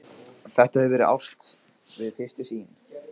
Þetta hefur verið ást við fyrstu sýn.